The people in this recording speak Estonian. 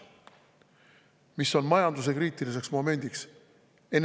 Mis on majanduse kriitiliseks momendiks?